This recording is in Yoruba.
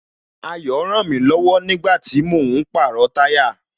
Ayo rànmí lọ̀wọ̀ nígbàtí mò ń pàrọ̀ táyà